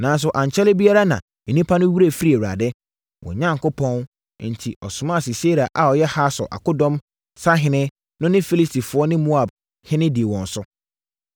“Nanso, ankyɛre biara na nnipa no werɛ firii Awurade, wɔn Onyankopɔn, enti ɔmaa Sisera a ɔyɛ Hasor akodɔm sahene no ne Filistifoɔ ne Moabhene dii wɔn so.